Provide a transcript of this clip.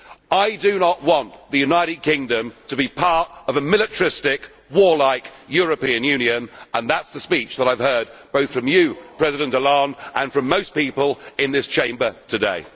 I do not want the United Kingdom to be part of a militaristic, warlike European Union, and that is the speech that I have heard both from you, President Hollande, and from most people in this Chamber today.